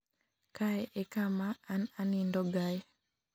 kae e kama an anindo gae